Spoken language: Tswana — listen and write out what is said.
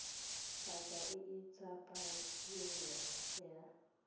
paka e e tsepameng ya